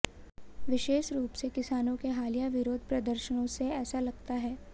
विशेष रूप से किसानों के हालिया विरोध प्रदर्शनों से ऐसा लगता है